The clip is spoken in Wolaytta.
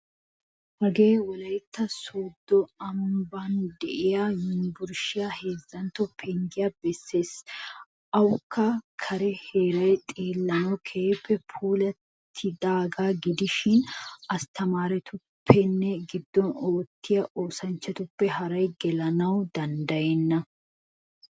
Hagee wolaytta sodo amban deiya yunvurshiyaa heezzantto penggiyaa besees. Awukka kare heeray xeellanawu keehin puulattidaga gidishin asttamaarettuppene giddon oottiya oosanchchatuppe haaraay gelanawu danddayena.